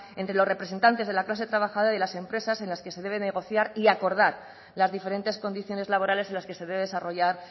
entre los representantes de la clase trabajadora y las empresas en las que se debe negociar y acordar las diferentes condiciones laborales en las que se debe desarrollar